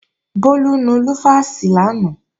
Bólú nu lúfàsì lánàá